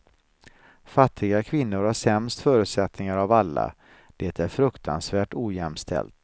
Fattiga kvinnor har sämst förutsättningar av alla, det är fruktansvärt ojämställt.